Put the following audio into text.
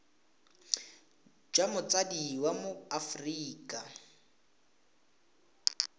jwa motsadi wa mo aforika